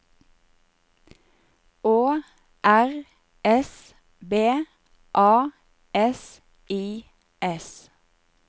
Å R S B A S I S